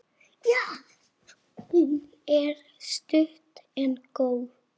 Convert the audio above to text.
Hún er stutt en góð.